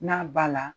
N'a ba la